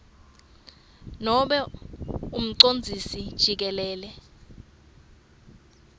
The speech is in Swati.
nobe umcondzisi jikelele